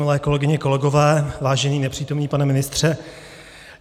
Milé kolegyně, kolegové, vážený nepřítomný pane ministře.